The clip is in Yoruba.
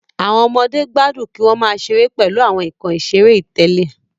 Àwọn ọmọdé gbádùn kí wọn máa ṣeré pèlú àwọn nkán iṣere itẹle